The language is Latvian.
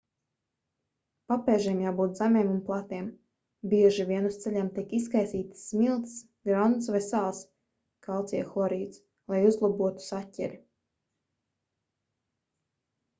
papēžiem jābūt zemiem un platiem. bieži vien uz ceļiem tiek izkaisītas smiltis grants vai sāls kalcija hlorīds lai uzlabotu saķeri